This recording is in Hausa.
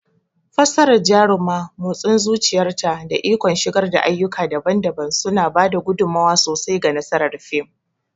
Fassarar Jaruma, motsin zuciyarta, da ikon shigar da ayyuka daban-daban suna ba da gudummawa sosai ga nasarar fim.